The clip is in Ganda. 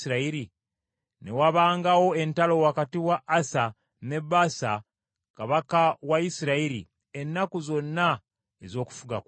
Ne wabangawo entalo wakati wa Asa ne Baasa kabaka wa Isirayiri, ennaku zonna ez’okufuga kwabwe.